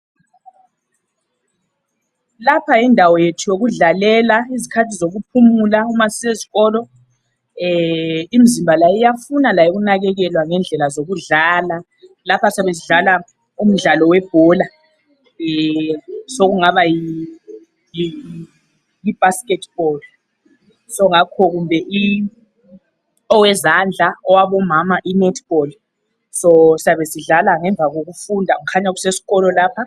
Lapha yindawo yethu yokudlalela ngezikhathi zokuphumula uma sisezikolo. Imizimba iyafuna layo ukunakakelwa ngendlela zokudlala. Lapha siyabe sidlala umdlalo webhola sokungaba yibasketball songakho kumbe owezandla owabomama inetball. Siyabe sidlala ngemva kokufunda, kukhanya kusesikolo lapha.